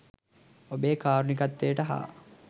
ඔබේ කාරුණිකත්වයට හා